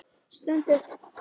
Stend upp.